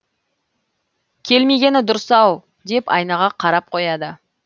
келмегені дұрыс ау деп айнаға қарап қояды